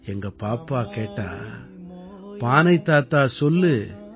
எங்க பாப்பா கேட்டா பானை தாத்தா சொல்லு